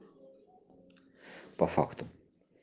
по факту